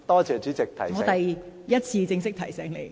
這是我第一次正式提醒你。